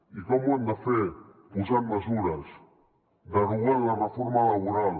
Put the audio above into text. i com ho hem de fer posant mesures derogant la reforma laboral